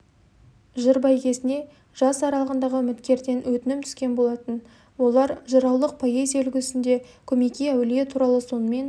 жыр бәйгесіне жас аралығындағы үміткерден өтінім түскен болатын олар жыраулық поэзия үлгісінде көмекей әулие туралы сонымен